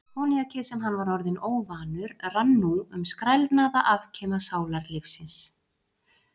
Koníakið, sem hann var orðinn óvanur, rann nú um skrælnaða afkima sálarlífsins.